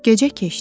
Gecə keçdi.